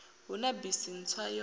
hu na bisi ntswa yo